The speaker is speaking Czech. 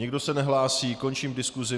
Nikdo se nehlásí, končím diskusi.